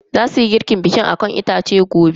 Zasuyi girkin bikin akan itace gobe.